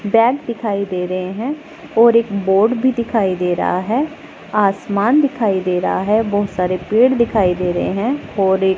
bag दिखाई दे रहे हैं और एक बोर्ड भी दिखाई दे रहा है आसमान दिखाई दे रहा है बहुत सारे पेड़ दिखाई दे रहे हैं और एक--